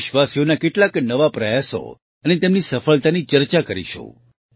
દેશવાસીઓના કેટલાક નવા પ્રયાસો અને તેમની સફળતાની ચર્ચા કરીશું